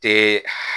Te